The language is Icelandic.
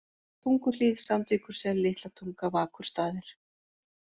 Tunguhlíð, Sandvíkursel, Litlatunga, Vakurstaðir